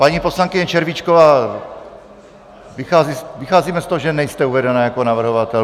Paní poslankyně Červíčková, vycházíme z toho, že nejste uvedena jako navrhovatelka.